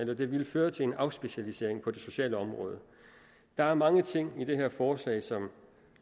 det ville føre til en afspecialisering på det sociale område der er mange ting i det her forslag som